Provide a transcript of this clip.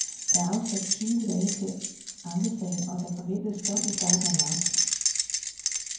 Der er afsat tyve dage til ankesagen, og der forventes dom i starten af marts.